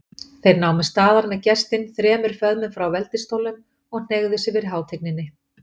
Þeir námu staðar með gestinn þremur föðmum frá veldisstólnum og hneigðu sig fyrir hátigninni.